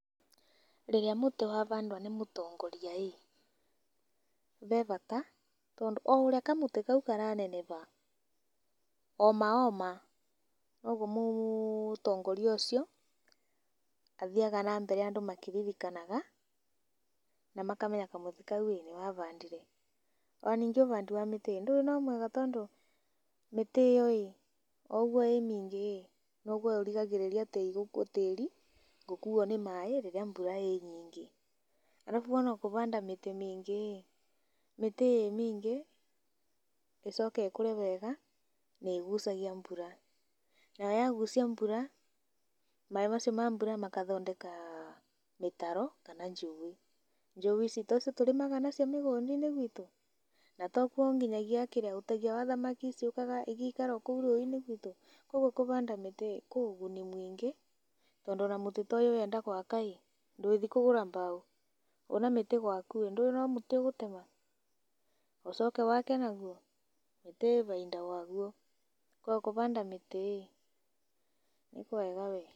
Rĩrĩa mũtĩ wabandwa nĩ mũtongoria ĩĩ be bata tondũ o ũrĩa kamũtĩ kau karanebeba oma oma nogũo mũtongoria ũcio athiaga na mbere andũ makĩririkanaga na makamenya kamũtĩ kau íĩ nĩwe abandire. Na ningĩ ubandi wa mĩtĩ ĩĩ ndũĩ no mwega tondũ mĩtĩ ĩyo oũguo ĩ mingĩ noguo ĩrigagĩrĩrĩa tĩĩri gũkuo ni maĩĩ rĩrĩa mbura ĩnyingĩ arabu ona kũbanda mĩtĩ mĩingĩ, mĩtĩ ĩ mĩingĩ ĩcoke ĩkũre wega nĩĩgucagia mbura nayoyagucia mbura maĩĩ macio ma mbura makathondeka mĩtaro kana njũĩ, njũĩ ici tocio tũrĩmaga nacio mĩgũndainĩ gwitũ na tokuo nginyagia kĩrĩa ũtegia wa thamaki ciũkaga igaikara o kũu rũĩ-ini gwitũ kwoguo kũbanda mĩtĩ kũ ũguni mũingĩ tondũ ona mũtĩ ta ũyũ ũyenda gwaka ndũĩthiĩ kũgũra mbao ũna mĩtĩ gwaku ndũĩ no mũtĩ ũgũtema ũcoke wake naguo, mĩtĩ ĩ baida waguo kwoguo kũbanda mĩtĩ nĩkwega wee.